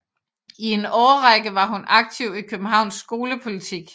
I en årrække var hun aktiv i Københavns skolepolitik